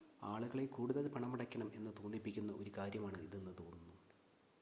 ആളുകളെ കൂടുതൽ പണമടയ്ക്കണം എന്ന തോന്നിപ്പിക്കുന്ന ഒരു കാര്യമാണ് ഇതെന്ന് തോന്നുന്നു